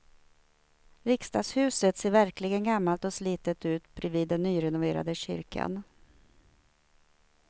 Riksdagshuset ser verkligen gammalt och slitet ut bredvid den nyrenoverade kyrkan.